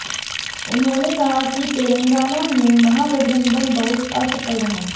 उन्होंने कहा कि तेलंगाना में महागठबंधन बहुत असफल रहा